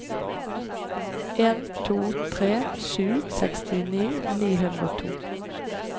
en to tre sju sekstini ni hundre og to